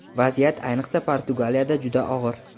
vaziyat ayniqsa Portugaliyada juda og‘ir.